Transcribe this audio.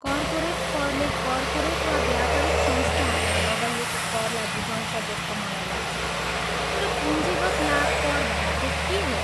Corporate करले corporate वा व्यापारिक संस्थाहरूमा लगाइएको करलाई बुझाउँछ जस्तो मलाई लाग्छ तर पूँजीगत लाभ कर भनेको के हो?